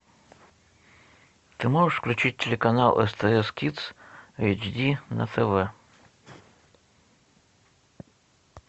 ты можешь включить телеканал стс кидс эйч ди на тв